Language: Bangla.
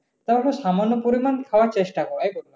সামান্য পরিমাণ খাওয়া চেষ্টা কর।